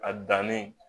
A danni